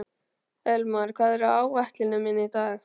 Elmar, hvað er á áætluninni minni í dag?